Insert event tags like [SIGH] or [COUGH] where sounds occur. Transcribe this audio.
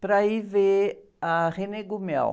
para ir ver a [UNINTELLIGIBLE]